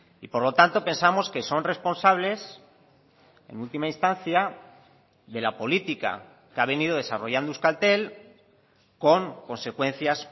y por lo tanto pensamos que son responsables en última instancia de la política que ha venido desarrollando euskaltel con consecuencias